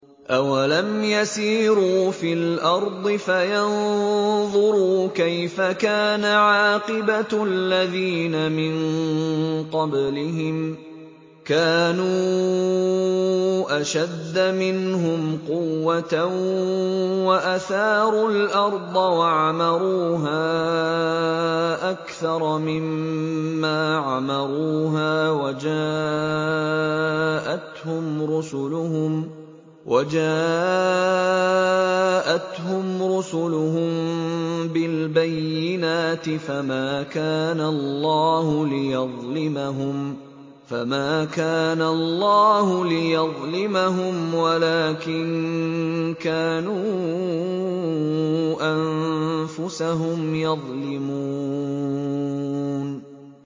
أَوَلَمْ يَسِيرُوا فِي الْأَرْضِ فَيَنظُرُوا كَيْفَ كَانَ عَاقِبَةُ الَّذِينَ مِن قَبْلِهِمْ ۚ كَانُوا أَشَدَّ مِنْهُمْ قُوَّةً وَأَثَارُوا الْأَرْضَ وَعَمَرُوهَا أَكْثَرَ مِمَّا عَمَرُوهَا وَجَاءَتْهُمْ رُسُلُهُم بِالْبَيِّنَاتِ ۖ فَمَا كَانَ اللَّهُ لِيَظْلِمَهُمْ وَلَٰكِن كَانُوا أَنفُسَهُمْ يَظْلِمُونَ